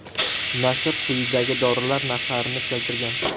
Nashr quyidagi dorilar narxlarini keltirgan.